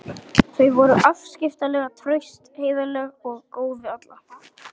Þau voru afskaplega traust, heiðarleg og góð við alla.